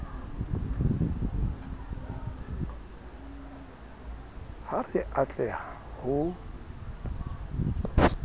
ha re a tleha ho